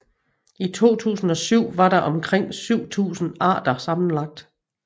I 2007 var der omkring 7000 arter sammenlagt